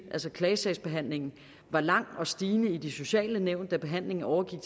altså klagesagsbehandlingen var lang og stigende i de sociale nævn da behandlingen overgik